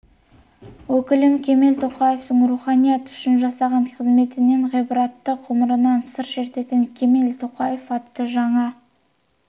өкілі кемел тоқаевтың руханият үшін жасаған қызметінен ғибратты ғұмырынан сыр шертетін кемел тоқаев атты жаңа